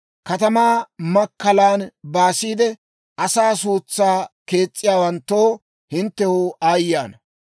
«Katamaa makkalan baasiide, asaa suutsan kees's'iyaawanttoo, hinttew aayye ana!